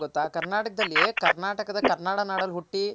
ಇನ್ನೂಂದ್ ಏನ್ ಗೊತ್ತ ಮಮತಾ ಕರ್ನಾಟಕದಲ್ಲಿ ಕರ್ನಾಟಕದ ಕನ್ನಡ ನಾಡಲ್ ಹುಟ್ಟಿ